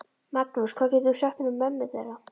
Magnús: Hvað getur þú sagt mér um mömmu þeirra?